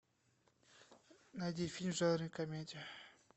найди фильм в жанре комедия